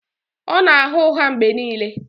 Ọ na-agha ụgha mgbe niile